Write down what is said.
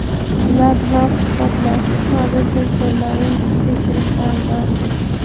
Ular bilan suhbatlashib, mobil telefonlarni tekshirishlari zarur.